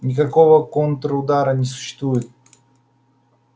никакого контрудара не существует